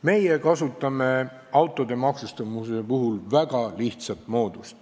Meie kasutame autode maksustamise puhul väga lihtsat moodust.